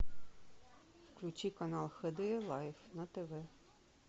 включи канал хд лайф на тв